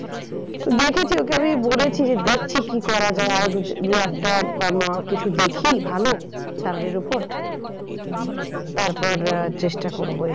দেখেছি ওকে আমি বলেছি যে দেখছি কি করা যায় আরো দু একটা দেখি ভালো salary র ওপর তারপর চেষ্টা করবো